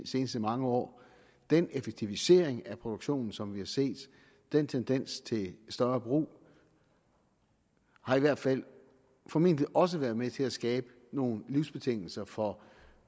seneste mange år den effektivisering af produktionen som vi har set den tendens til større brug har i hvert fald formentlig også været med til at skabe nogle livsbetingelser for